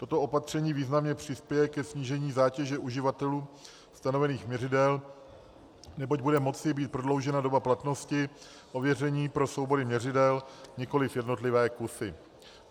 Toto opatření významně přispěje ke snížení zátěže uživatelů stanovených měřidel, neboť bude moci být prodloužena doba platnosti ověření pro soubory měřidel, nikoliv jednotlivé kusy.